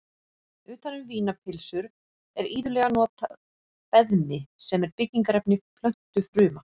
Utan um vínarpylsur er iðulega notað beðmi sem er byggingarefni plöntufruma.